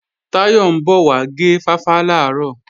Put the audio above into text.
Táyọ̀ ń bọ̀ wá gé fáfá làárọ̀